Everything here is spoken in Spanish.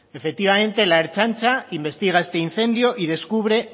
efectivamente la ertzaintza investiga este incendio y descubre